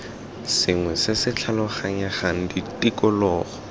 sengwe se se tlhaloganyegang tikologo